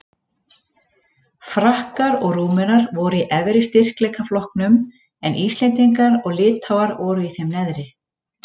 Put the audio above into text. Frakkar og Rúmenar voru í efri styrkleikaflokknum en Íslendingar og Litháar voru í þeim neðri.